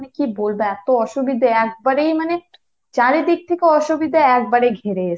কি বলবো এতো অসুবিধে একবারে মানে চারিদিক থেকে অসুবিধা একবারে ঘিরে রয়েছে